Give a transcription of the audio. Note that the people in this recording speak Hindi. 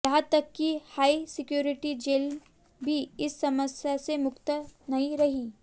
यहां तक कि हाई सिक्योरिटी जेलें भी इस समस्या से मुक्त नहीं रहीं